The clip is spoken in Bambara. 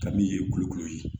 Ka min ye kulukolo ye